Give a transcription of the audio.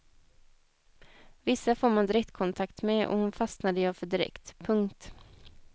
Vissa får man direktkontakt med och hon fastnade jag för direkt. punkt